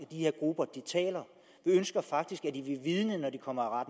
de her grupper taler vi ønsker faktisk at de vil vidne når de kommer